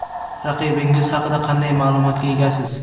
Raqibingiz haqida qanday ma’lumotga egasiz?